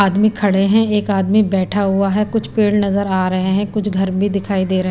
आदमी खड़े हैं एक आदमी बैठा हुआ है कुछ पेड़ नजर आ रहे हैं कुछ घर भी दिखाई दे रहे।